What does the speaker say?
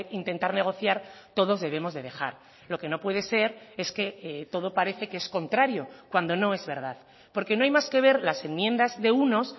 intentar negociar todos debemos de dejar lo que no puede ser es que todo parece que es contrario cuando no es verdad porque no hay más que ver las enmiendas de unos